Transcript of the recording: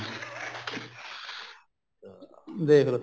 ਦੇਖਲੋ